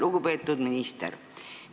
Lugupeetud minister!